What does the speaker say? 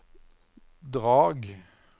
Drag